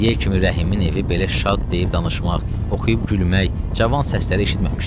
İndiyə kimi Rəhimin evi belə şad deyib danışmaq, oxuyub gülmək, cavan səsləri eşitməmişdi.